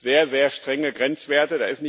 Es gibt sehr, sehr strenge Grenzwerte.